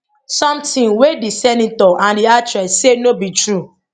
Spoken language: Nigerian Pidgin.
sometin wey di senator and di actress say no be true